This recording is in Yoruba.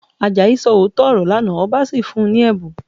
Àjàyí sọ òótọ́ ọ̀rọ̀ lánàá, ọba sì fún un ní ẹ̀bùn